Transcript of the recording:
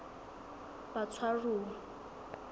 batshwaruwa